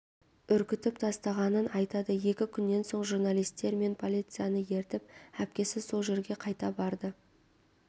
үркітіп тастағанын айтады екі күннен соң журналистер мен полицияны ертіп әпкесі сол жерге қайта барды